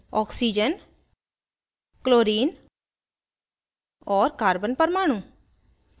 oxygen chlorine और carbon परमाणु